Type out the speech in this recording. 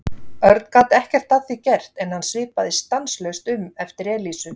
Örn gat ekkert að því gert en hann svipaðist stanslaust um eftir Elísu.